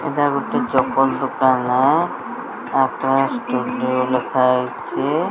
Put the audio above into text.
ଏଟା ଗୋଟେ ଚପଲ୍ ଦୋକାନ ଆକାଶ୍ ଷ୍ଟୁଡିଓ ଲେଖାହେଇଚି।